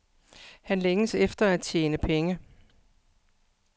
Han længtes efter at tjene penge.